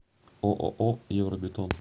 ооо евробетон